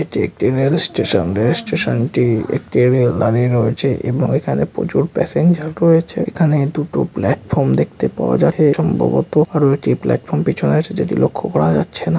এটি একটি রেলস্টেশন রেলস্টেশনটি-ই একটি রেল দাঁড়িয়ে রয়েছে এবং এখানে প্রচুর প্যাসেঞ্জার রয়েছে। এখানে দুটো প্লাটফর্ম দেখতে পাওয়া যাবে এবং একটি প্লাটফ্রম পেছনে আছে যেটি লক্ষ্য করা যাচ্ছে না --